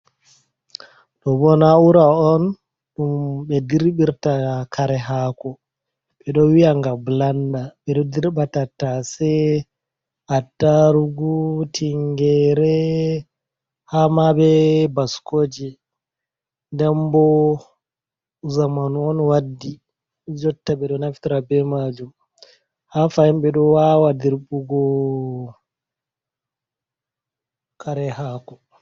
Ɗobo na'ura on ɗum ɓe dirɓirta kare hako ɓeɗo wi'a nga blenda. Ɓeɗo dirɓa tattase attarugu tinnyere hama be baskoje, den bo zamanu on waddi jotta ɓeɗo naftira be majum ha fahin ɓeɗo wawa dirɓugo kare hako.